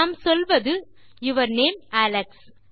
நாம் சொல்வது your name Alex